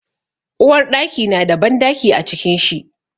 Uwarɗaki na da bandaki a cikin shi.